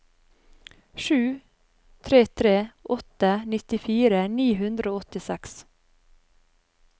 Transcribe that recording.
sju tre tre åtte nittifire ni hundre og åttiseks